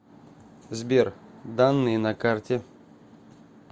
сбер данные на карте